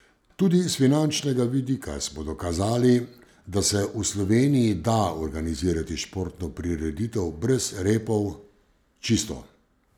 Tudi s finančnega vidika smo dokazali, da se v Sloveniji da organizirati športno prireditev brez repov, čisto.